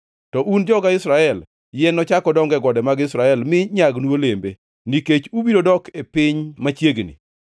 “ ‘To un, joga Israel, yien nochak odong e gode mag Israel, mi nyagnu olembe, nikech ubiro dok e piny machiegni.